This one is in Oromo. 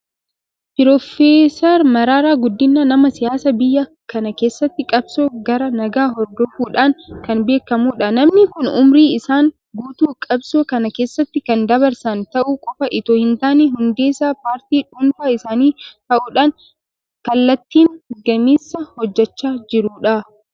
Piroofeesar Mararaa Guddinaan nama siyaasaa biyya kana keessatti qabsoo karaa nagaa hordofuudhaan kan beekamudha. Namni kun ummurii isaanii guutuu qabsoo kana keessatti kan dabarsan ta'uu qofa itoo hintaane hundeessaa paartii dhuunfaa isaanii ta'uudhaan kallattiin gameessa hojjechaa jirudha.